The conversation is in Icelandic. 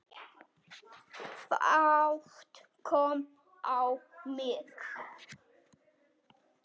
Fát kom á mig.